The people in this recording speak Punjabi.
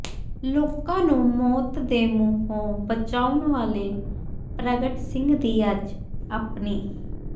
ਲੋਕਾਂ ਨੂੰ ਮੌਤ ਦੇ ਮੂੰਹੋਂ ਬਚਾਉਣ ਵਾਲੇ ਪ੍ਰਗਟ ਸਿੰਘ ਦੀ ਅੱਜ ਅਪਣੀ